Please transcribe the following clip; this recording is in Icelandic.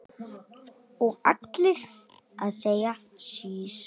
Og allir að segja sís!